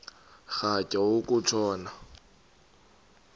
rhatya uku tshona